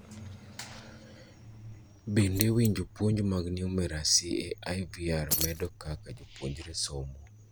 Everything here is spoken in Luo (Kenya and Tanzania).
bende winjo puonjo mag numeracy e IVR medo kaka japuonjre somo?